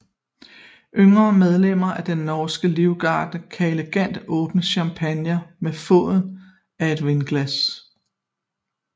Yngre medlemmer af den norske livgarde kan elegant åbne champagne med foden af et vinglas